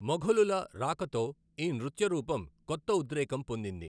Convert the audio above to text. మొఘలుల రాకతో, ఈ నృత్య రూపం కొత్త ఉద్రేకం పొందింది.